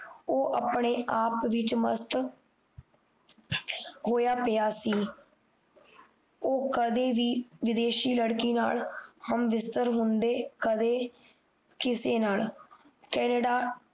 ਉਹ ਆਪਣੇ ਆਪ ਵਿੱਚ ਮਸਤ ਹੋਇਆ ਪਿਆ ਸੀ ਉਹ ਕਦੇ ਵੀ ਵਿਦੇਸ਼ੀ ਲੜਕੀ ਨਾਲ ਹੁੰਦੇ ਕਦੇ ਕਿਸੇ ਨਾਲ ਕੈਨੇਡਾ